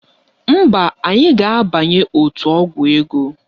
Mba, anyị ga-abanye otu ọgwụ ego